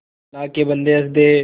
अल्लाह के बन्दे हंस दे